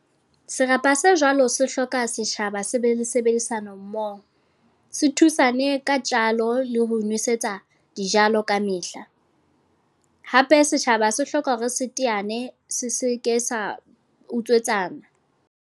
Serapa se jwalo se hloka setjhaba se be le sebedisano mmoho. Se thusane ka tjalo, le ho nwesetsa dijalo kamehla. Hape setjhaba se hloka hore se teane, se se ke sa utswetsana.